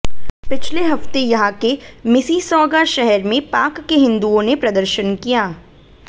पिछले हफ्ते यहां के मिसिसॉगा शहर में पाक के हिंदुओं ने प्रदर्शन किया